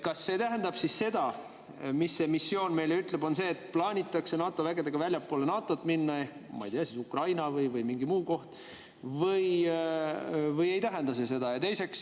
Kas see tähendab siis seda, et see missioon ütleb meile, et NATO vägedega plaanitakse minna väljapoole NATO-t – ma ei tea, kas siis Ukrainasse või mingisse muusse kohta – või ei tähenda see seda?